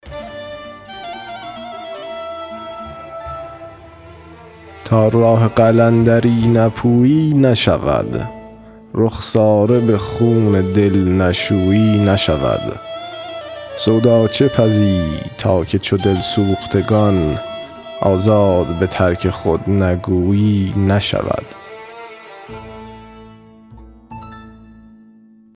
تا راه قلندری نپویی نشود رخساره به خون دل نشویی نشود سودا چه پزی تا که چو دل سوختگان آزاد به ترک خود نگویی نشود